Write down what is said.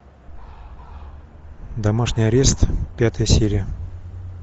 домашний арест пятая серия